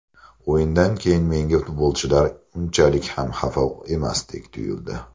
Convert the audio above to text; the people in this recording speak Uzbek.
O‘yindan keyin menga futbolchilar unchalik ham xafa emasdek tuyuldi.